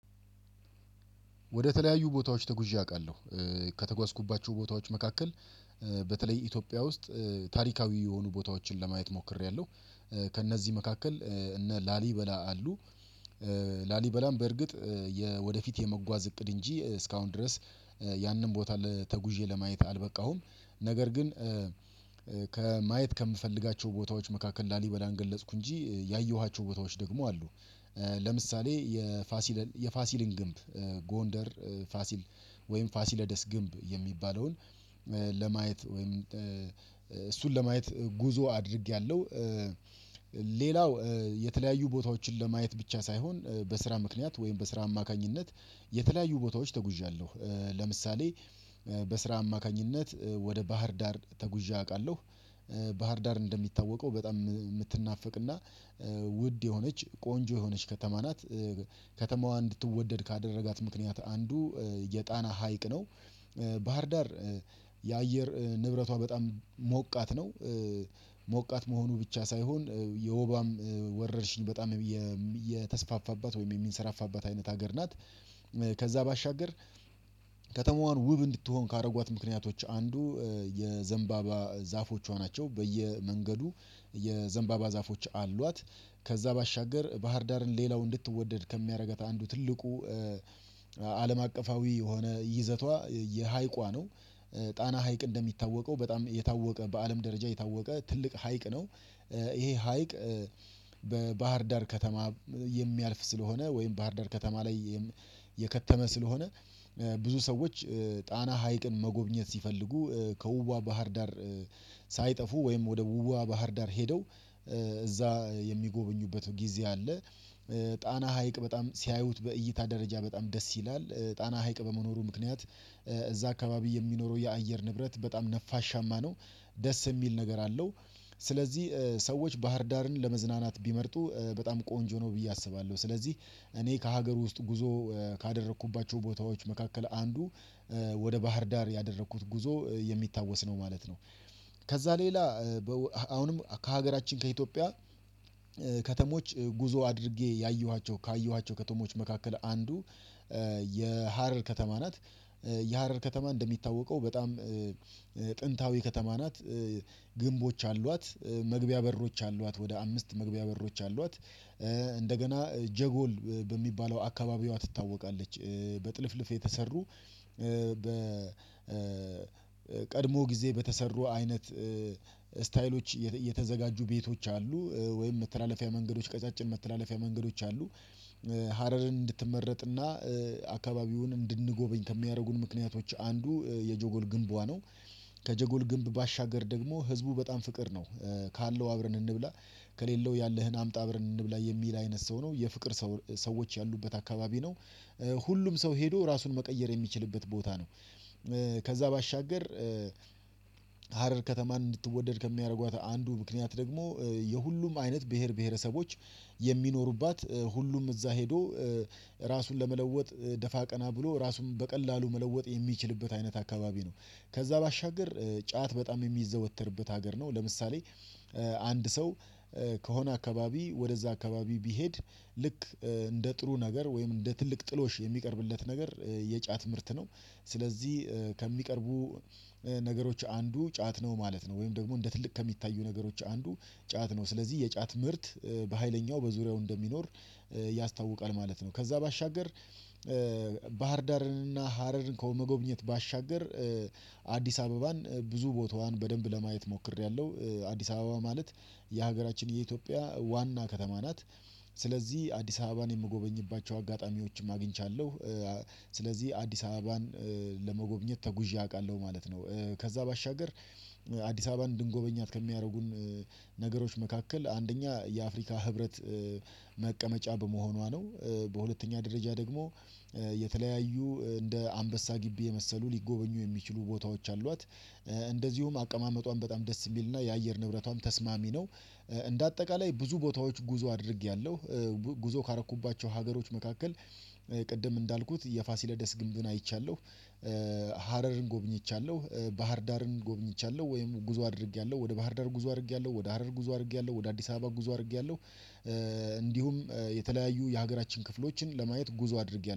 ወደ ተለያዩ ቦታዎች ተጉዤ አቃለሁ እ ከተጓዝኩባቸው ቦታዎች መካከል እ በተለይ ኢትዮጵያ እ ውስጥ ታሪካዊ የሆኑ ቦታዎችን ለማየት ሞክሬያለሁ እ ከእነዚህ መካከል እ እነ ላሊበላ አሉ እ ላሊበላም በርግጥ እ ወደፊት የመጓዝ እቅድ እንጂ እ እስካሁን ድረስ እ ያንን ቦታ ተጉዤ ለማየት አልበቃሁም ነገር ግን እ ከማየት ከምፈልጋቸው ቦታዎች መካከል ላሊበላን ገለጽኩ እንጂ ያየኋቸው ቦታዎች ደግሞ አሉ እ ለምሳሌ የፋሲል የፋሲልን ግንብ እ ጎንደር እ ፋሲል ወይም ፋሲለደስ ግንብ የሚባለውን እ ለማየት ወይም እ እሱን ለማየት ጉዞ አድርጌያለሁ እ ሌላው እ የተለያዩ ቦታዎችን ለማየት ብቻ ሳይሆን በስራ እ ምክንያት ወይም በስራ አማካኝነት የተለያዩ ቦታዎች ተጉዣለሁ እ ለምሳሌ እ በስራ አማካኝነት እ ወደ ባህር ዳር ተጉዤ አቃለሁ። ባህር ዳር እንደሚታወቀው በጣም የምትናፍቅ እና እ ውድ የሆነች ቆንጆ የሆነች ከተማ እ ናት። ከተማዋን እንድትወደድ ካደረጋት ምክንያት አንዱ እ የጣና ሀይቅ ነው እ ባህርዳር እ የአየር እ ንብረቷ በጣም ሞቃት ነው። ሞቃት መሆኑ ብቻ ሳይሆን የወባም እ ወረርሽኝ በጣም የም የተስፋፋባት ወይም የሚንሰራፋባት አይነት ሀገር ናት። ከዛ ባሻገር ከተማዋን ውብ እንድትሆን ካረጓት ምክንያቶች አ አንዱ የዘንባባ ዛፎቿ ናቸው በየመንገዱ የዘንባባ ዛፎች አሏት። ከዛ ባሻገር ባህርዳርን ሌላው እንድትወደድ ከሚረጋት አንዱ ትልቁ እ አለም አቀፋዊ የሆነ ይዘቷ የሃይቋ ነው። ጣና ሀይቅ እንደሚታወቀው በጣም የታወቀ በአለም ደረጃ የታወቀ ትልቅ ሀይቅ ነው እ። ይሄ እ ሀይቅ በባህር ዳር ከተማ የሚያልፍ ስለሆነ ወይም ባህር ዳር ከተማ ላይ የም የከተመ ስለሆነ እ ብዙ ሰዎች እ ጣና ሀይቅን መጎብኘት ሲፈልጉ እ ከውብዋ ባህር ዳር። ሳይጠፉ ወይም ወደ ውብዋ ባህር ዳር ሄደው እ እዛ የሚጎበኙበት ጊዜ አለ እ ጣና ሀይቅ በጣም ሲያዩት በእይታ ደረጃ በጣም ደስ ይላል ጣና ሀይቅ በመኖሩ ምክንያት እ እዛ አካባቢ የሚኖረው የአየር ንብረት በጣም ነፋሻማ ነው። ደስ የሚል ነገር አለው። ስለዚህ እ ሰዎች ባህርዳርን ለመዝናናት ቢመርጡ እ በጣም ቆንጆ ነው ብዬ አስባለሁ ስለዚህ እኔ ከሀገር ውስጥ ጉዞ እ ካደረኩባቸው ቦታዎች መካከል አንዱ እ ወደ ባህር ዳር ያደረኩት ጉዞ የሚታወስ ነው ማለት ነው። ከዛ ሌላ እ በው አሁንም ከሀገራችን ከኢትዮጵያ እ ከተሞች ጉዞ አድርጌ ያየኋቸው ካየኋቸው ከተሞች መካከል አንዱ እ የሀረር ከተማ ናት እ። የሀረር ከተማ እንደሚታወቀው በጣም እ ጥንታዊ ከተማ ናት እ። ግንቦች አሏት እ መግቢያ በሮች አሏት ወደ አምስት መግቢያ በሮች አሏት እ እንደገና ጀጎል በሚባለው አካባቢዋ ትታወቃለች እ በጥልፍልፍ የተሰሩ እ በ እ እእ ቀድሞ ጊዜ በተሰሩ አይነት ስታይሎች የተ የተዘጋጁ ቤቶች አሉ እ ወይም መተላለፊያ መንገዶች ቀጫጭን መተላለፊያ መንገዶች አሉ። እ ሀረርን እንድትመረጥና እ አካባቢውን እንድንጎበኝ ከሚያደርጉን ምክንያቶች አንዱ የጆጎል ግንቧ ነው። ከጀጎል ግንብ ባሻገር ደግሞ ህዝቡ በጣም ፍቅር ነው እ ካለው አብረን እንብላ ከሌለው ያለህን አምጣ አብረን እንብላ የሚል አይነት ሰው ነው የፍቅር ሰው ሰዎች ያሉበት አካባቢ ነው እ። ሁሉም ሰው ሄዶ ራሱን መቀየር የሚችልበት ቦታ ነው እ። ከዛ ባሻገር እ ሀረር ከተማን እንድትወደድ ከሚያደርጓት አንዱ ምክንያት ደግሞ የሁሉም አይነት ብሄር ብሄረሰቦች የሚኖሩባት እ ሁሉም እዛ ሄዶ እ ራሱን ለመለወጥ እ ደፋ ቀና ብሎ ራሱን በቀላሉ መለወጥ የሚችልበት አይነት አካባቢ ነው። ከዛ ባሻገር እ ጫት በጣም የሚዘወትርበት ሀገር ነው ለምሳሌ እ አንድ ሰው እ ከሆነ አካባቢ ወደዛ አካባቢ ቢሄድ ልክ እ እንደ ጥሩ ነገር ወይም እንደ ትልቅ ጥሎሽ እ የሚቀርብለት ነገር እ የጫት ምርት ነው። ስለዚህ እ ከሚቀርቡ እ ነገሮች አንዱ ጫት ነው ማለት ነው ወይም ደግሞ እንደ ትልቅ ከሚታዩ ነገሮች አንዱ ጫት ነው ስለዚህ የጫት ምርት እ በሃይለኛው በዙሪያው እንደሚኖር እ ያስታውቃል ማለት ነው። ከዛ ባሻገር እ ባህርዳርን እና ሀረርን ከመጎብኘት ባሻገር እ አዲስ አበባን እ ብዙ ቦታዋን በደንብ ለማየት ሞክሬያለሁ። አዲስ አበባ ማለት የሀገራችን የኢትዮጵያ ዋና ከተማ ናት። ስለዚህ አዲስ አበባን የምጎበኝባቸው አጋጣሚዎችም አግኝቻለሁ እ ስለዚህ አዲስ አበባን እ ለመጎብኘት ተጉዤ አውቃለሁ ማለት ነው። እ ከዛ ባሻገር እ አዲስ አበባን እንድንጎበኛት ከሚያደርጉን እ ነገሮች መካከል አንደኛ የአፍሪካ ህብረት እ መቀመጫ በመሆኗ ነው። እ በሁለተኛ ደረጃ ደግሞ የእ የተለያዩ እ እንደ አንበሳ ግቢ የመሰሉ ሊጎበኙ የሚችሉ ቦታዎች አሏት እ እንደዚሁም አቀማመጧን በጣም ደስ የሚልና የአየር ንብረቷም ተስማሚ ነው እ። እንደ አጠቃላይ ብዙ ቦታዎች ጉዞ አድርጌያለሁ። እ ጉዞ ካረኩባቸው ሀገሮች መካከል እ ቅድም እንዳልኩት የፋሲለደስ ግንብን አይቻለሁ። እ ሀረርን ጎብኝቻለሁ እ ባህርዳርን ጎብኝቻለሁ ወይም ጉዞ አድርጌያለሁ ወደ ባህርዳር ጉዞ አድርጌያለሁ ወደ ሀረር ጉዞ አድርጌያለሁ ወደ አዲስ አበባ ጉዞ አድርጌያለሁ። እ እንዲሁም የተለያዩ የሀገራችን ክፍሎችን ለማየት ጉዞ አድርጌያለሁ